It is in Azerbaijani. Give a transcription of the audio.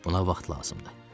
Ona vaxt lazım idi.